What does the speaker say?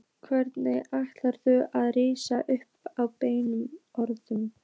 Hvenær ætlarðu að rísa upp og berja í borðið?